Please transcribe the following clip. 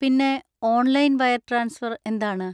പിന്നെ, online wire transfer എന്താണ്?